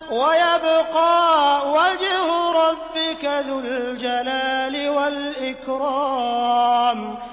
وَيَبْقَىٰ وَجْهُ رَبِّكَ ذُو الْجَلَالِ وَالْإِكْرَامِ